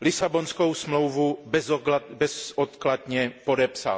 Lisabonskou smlouvu bezodkladně podepsal.